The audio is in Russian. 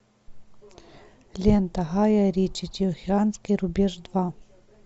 лента гая ричи тихоокеанский рубеж два